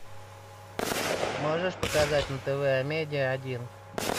можешь показать на тв а медиа один